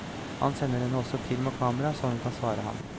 Han sender henne også film og kamera så hun kan svare ham.